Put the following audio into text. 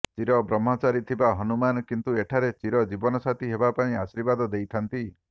ଚିର ବ୍ରହ୍ମଚାରୀ ଥିବା ହନୁମାନ କିନ୍ତୁ ଏଠାରେ ଚିର ଜୀବନ ସାଥୀ ହେବା ପାଇଁ ଆର୍ଶିବାଦ ଦେଇଥାନ୍ତି